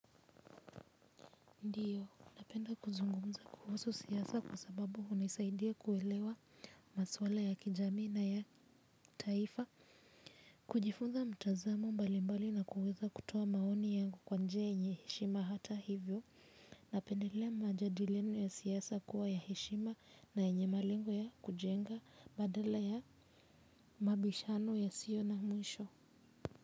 Ndio napenda kuzungumza kuhusu siasa kwa sababu hunisaidia kuelewa maswala ya kijamii na ya taifa kujifunza mtazamo mbalimbali na kuweza kutoa maoni yangu kwa njia yenye heshima hata hivyo napendelea majadiliano ya siasa kuwa ya heshima na yenye malengo ya kujenga badala ya mabishano yasiyo na mwisho.